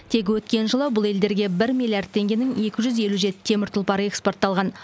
тек өткен жылы бұл елдерге бір миллиард теңгенің екі жүз елу жеті темір тұлпары эскпортталған